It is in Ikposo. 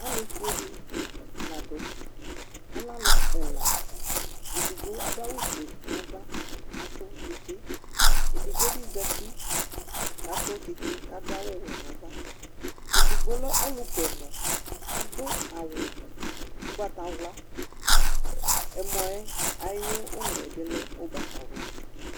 alu fue di la du , alɛ alu ɛla, edigbo adu awu fue nu ava ku etu tsitsi, edigbo bi zati ku atu tsitsi ku adu awu wɛ nu ava, edigbo lɛ ɔlu ku ɛmɔ adu awu ugbata wla ɛmɔ yɛ ayu ulɔ yɛ bi lɛ ugbata wla